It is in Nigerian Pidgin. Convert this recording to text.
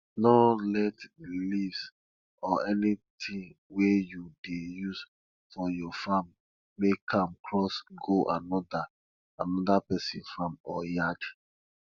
no let di leaves or anytin wey you dey use for your farm make am cross go another another pesin farm or yard